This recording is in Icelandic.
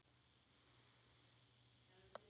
Hann tók því vel.